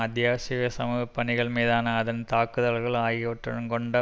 அத்தியாவசிய சமூக பணிகள் மீதான அதன் தாக்குதல்கள் ஆகியவற்றுடன் கொண்ட